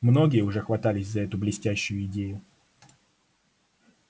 многие уже хватались за эту блестящую идею